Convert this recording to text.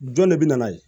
Jɔn de bɛ na ye